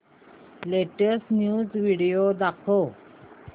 latest news video दाखव